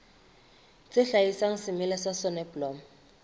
tse hlaselang semela sa soneblomo